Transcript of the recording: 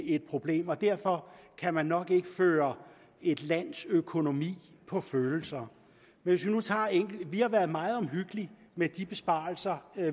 et problem og derfor kan man nok ikke føre et lands økonomi på følelser vi har været meget omhyggelige med de besparelser